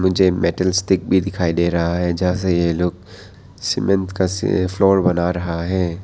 जे metal stick भी दिखाई दे रहा है जहां से ये लोग सीमेंट का फ्लोर बना रहे हैं।